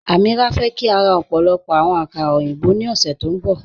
Amíírà fẹ́ kí a rá ọ̀pọ̀lọ̀pọ̀ àwọn àkàrà oyinbọ̀ ní ọ̀ṣẹ́ tó nbọ